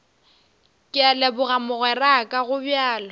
ke a leboga mogweraka gobjalo